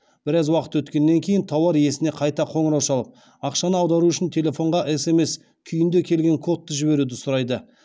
біраз уақыт өткеннен кейін тауар иесіне қайта қоңырау шалып ақшаны аудару үшін телефонға смс күйінде келген кодты жіберуді сұрайды